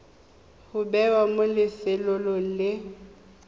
go bewa mo lefelong le